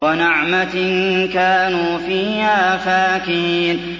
وَنَعْمَةٍ كَانُوا فِيهَا فَاكِهِينَ